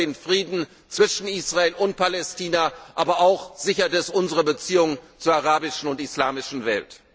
Das sichert den Frieden zwischen Israel und Palästina, aber es sichert auch unsere Beziehung zur arabischen und islamischen Welt.